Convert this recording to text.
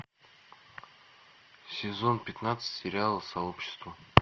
сезон пятнадцать сериала сообщество